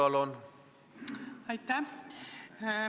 Aitäh!